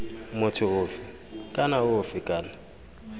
motho ofe kana ofe kana